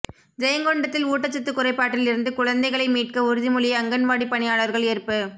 ஜெயங்கொண்டத்தில் ஊட்டச்சத்து குறைபாட்டில் இருந்து குழந்தைகளை மீட்க உறுதிமொழி அங்கன்வாடி பணியாளர்கள் ஏற்பு